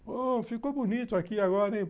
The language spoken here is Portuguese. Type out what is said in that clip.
Bom, ficou bonito aqui agora, hein?